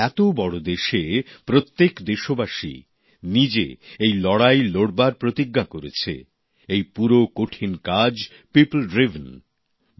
এত বড় দেশে প্রত্যেক দেশবাসী নিজে এই লড়াই লড়বার প্রতিজ্ঞা করেছে এই পুরো কঠিন কাজ পিপল ড্রিভেন౼জন উদ্যোগ